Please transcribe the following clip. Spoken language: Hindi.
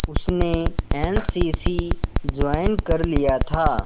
उसने एन सी सी ज्वाइन कर लिया था